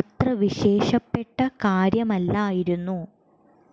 അത്ര വിശേഷപ്പെട്ട കാര്യമല്ലായിരുന്നു